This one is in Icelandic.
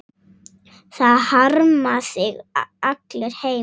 Það harma þig allir heima.